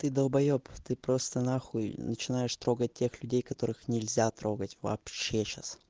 ты долбаёб ты просто нахуй начинаешь трогать тех людей которых нельзя трогать вообще сейчас